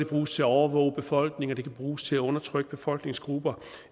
bruges til at overvåge befolkninger og det kan bruges til at undertrykke befolkningsgrupper